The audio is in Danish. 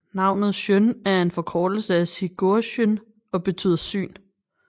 Navnet Sjón er en forkortelse af Sigurjón og betyder syn